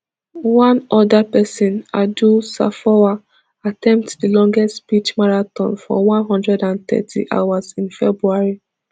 one oda pesin adu sarfowaa attempt di longest speech marathon for one hundred and thirty hours in february